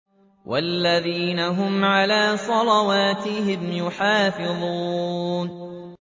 وَالَّذِينَ هُمْ عَلَىٰ صَلَوَاتِهِمْ يُحَافِظُونَ